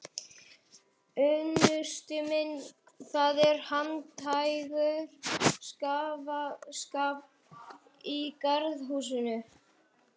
Unnusti minn, það er handhægur skafl í garði hússins.